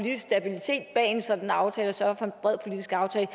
og en sådan aftale og sørge for en bred politisk aftale